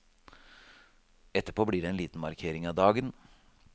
Etterpå blir det en liten markering av dagen.